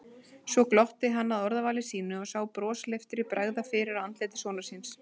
Svo glotti hann að orðavali sínu og sá brosleiftri bregða fyrir á andliti sonar síns.